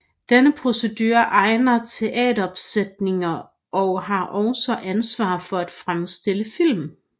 Denne producerer egne teateropsætninger og har også ansvar for at fremstille film